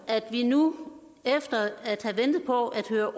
at vi nu efter at have ventet på at høre